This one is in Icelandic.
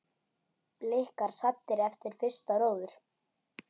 Blikar saddir eftir fyrsta róður?